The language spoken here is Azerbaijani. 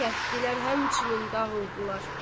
Kətdilər həmçinin dağıldılar.